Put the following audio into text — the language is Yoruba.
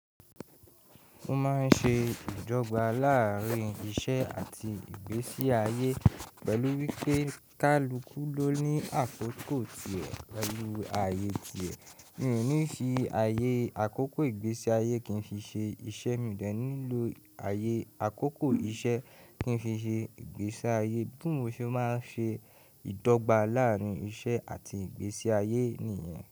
Ó máa ń ṣe ìdọ́gba láàárín iṣẹ́ àti ìgbésí ayé pẹ̀lú wípé kálukú ló ní àkókò tìẹ pẹ̀lú ayé tìẹ. Mi ò ní fi ayé àkókò ìgbésí ayé kí n fi ṣe iṣẹ́, mi ò ní lò ayé àkókò iṣẹ́ kí n fi ṣe ìgbésí ayé bí mo ṣe máa ń ṣe ìdọ́gba láàárín iṣẹ́ àti ìgbésí ayé nì yen.